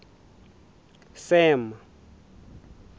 sam